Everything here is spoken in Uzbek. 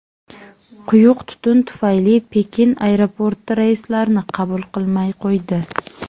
Quyuq tutun tufayli Pekin aeroporti reyslarni qabul qilmay qo‘ydi.